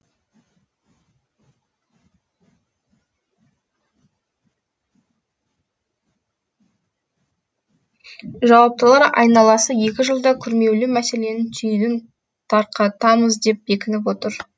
жауаптылар айналасы екі жылда күрмеулі мәселенің түйінің тарқатамыз деп бекініп отыр